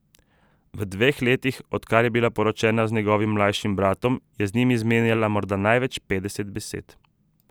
V dveh letih, odkar je bila poročena z njegovim mlajšim bratom, je z njim izmenjala morda največ petdeset besed.